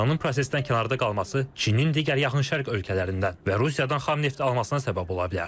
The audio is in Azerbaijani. İranın prosesdən kənarda qalması Çinin digər yaxın şərq ölkələrindən və Rusiyadan xam neft almasına səbəb ola bilər.